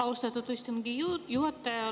Austatud istungi juhataja!